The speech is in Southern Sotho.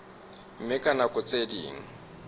mme ka nako tse ding